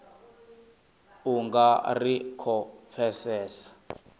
u nga ri khou pfesesa